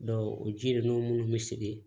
o ji ninnu minnu bɛ sigi